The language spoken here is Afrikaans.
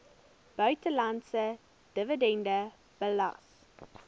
buitelandse dividende belas